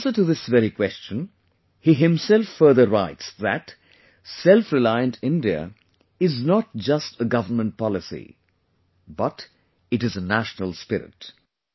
In answer to this very question, he himself further writes that "'Self reliant India" is not just a Government policy, but is a national spirit